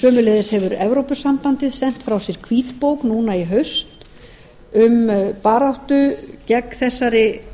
sömuleiðis hefur evrópusambandið sent frá sér hvítbók núna í haust um baráttu gegn þessari